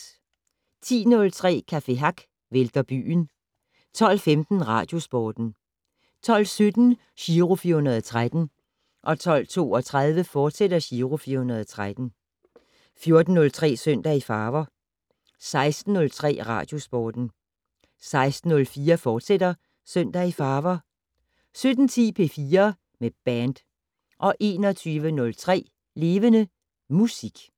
10:03: Café Hack vælter byen 12:15: Radiosporten 12:17: Giro 413 12:32: Giro 413, fortsat 14:03: Søndag i farver 16:03: Radiosporten 16:04: Søndag i farver, fortsat 17:10: P4 med band 21:03: Levende Musik